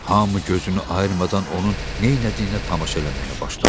Hamı gözünü ayırmadan onun neylədiyinə tamaşa eləməyə başladı.